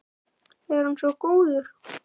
Er hann svo góður?